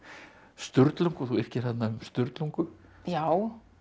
Sturlungu þú yrkir þarna um Sturlungu já